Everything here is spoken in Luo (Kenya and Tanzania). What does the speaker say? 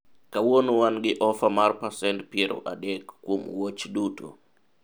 kawuono wan gi ofa mar pacent piero adek kuom wuoch duto